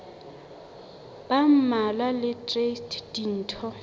ba mmalwa le traste ditho